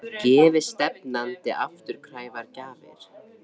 Gefi stefnandi afturkræfar gjafir?